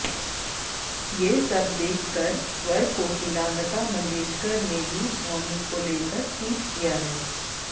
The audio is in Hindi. ये सब देखकर स्वर कोकिला लता मंगेशकर ने भी धौनी को लेकर ट्वीट किया है